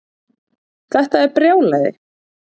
Þetta er brjálæði